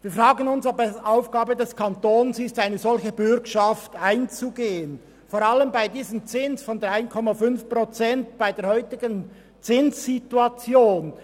Wir fragen uns, ob es Aufgabe des Kantons ist, eine solche Bürgschaft einzugehen, vor allem bei diesem Zins von 3,5 Prozent bei der heutigen Zinssituation.